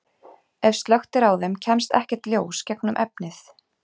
Ef slökkt er á þeim kemst ekkert ljós gegnum efnið.